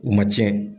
U ma tiɲɛ